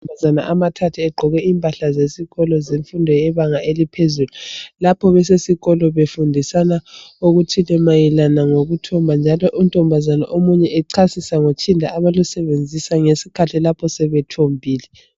Amankazana amathathu egqoke impahla zesikolo zemfundo ebanga eliphezulu, lapha besesikolo befundisana okuthile mayelana ngokuthomba njalo untombazana omunye echasisa ngotshinda abalusebenzisa ngesikhathi lapha sebethombile.